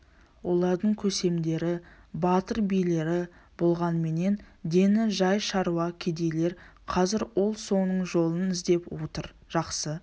олардың көсемдері батыр билері болғанменен дені жай шаруа кедейлер қазір ол соның жолын іздеп отыр жақсы